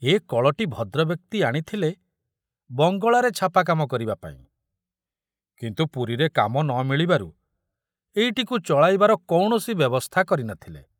ଏ କଳଟି ଭଦ୍ରବ୍ୟକ୍ତି ଆଣିଥିଲେ ବଙ୍ଗଳାରେ ଛାପାକାମ କରିବା ପାଇଁ, କିନ୍ତୁ ପୁରୀରେ କାମ ନ ମିଳିବାରୁ ଏଇଟିକୁ ଚଳାଇବାର କୌଣସି ବ୍ୟବସ୍ଥା କରି ନଥିଲେ।